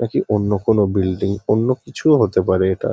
নাকি অন্য কোনো বিল্ডিং অন্য কিছুও হতে পারে এটা।